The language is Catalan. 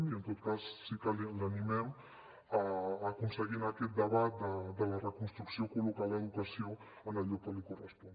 i en tot cas sí que l’animem a aconseguir en aquest debat de la reconstrucció col·locar l’educació en el lloc que li correspon